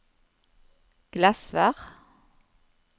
Glesvær